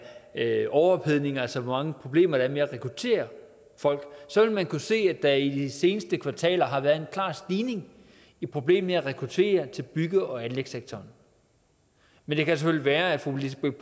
af overophedning altså hvor mange problemer der er med at rekruttere folk vil man kunne se at der i de seneste kvartaler har været en klar stigning i problemet med at rekruttere til bygge og anlægssektoren men det kan selvfølgelig være at fru lisbeth